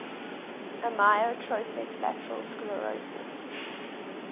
amyotrophic lateral sclerosis